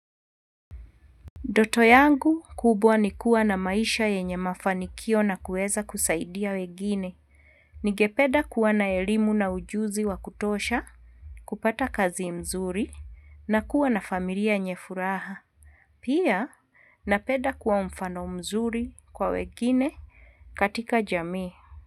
Ndoto yangu kubwa ni kuwa na maisha yenye mafanikio na kuweza kusaidia wengine. Nigepeda kuwa na elimu na ujuzi wa kutosha, kupata kazi mzuri na kuwa na familia yenye furaha. Pia ninapenda kua mfano mzuri kwa wengine katika jamii.